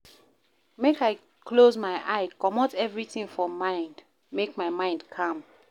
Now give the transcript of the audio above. Make I close my eye, comot everytin for mind make my mind calm.